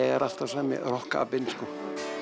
er alltaf sami rokkapinn sko